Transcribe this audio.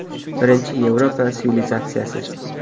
Birinchi Yevropa sivilizatsiyasi.